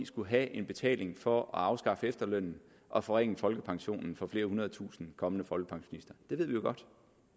skullet have en betaling for at afskaffe efterlønnen og forringe folkepensionen for flere hundrede tusinde kommende folkepensionister det ved vi jo godt